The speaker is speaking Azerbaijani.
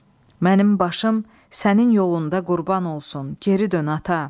Mənim başım sənin yolunda qurban olsun, geri dön ata.